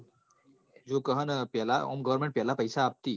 દેખ હ ન પેલા government પઇસા આપતી